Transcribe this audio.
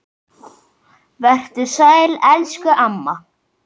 Vertu sæl elsku amma.